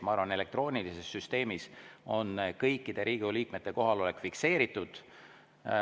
Ma arvan, et elektroonilises süsteemis on kõikide Riigikogu liikmete kohalolek fikseeritud.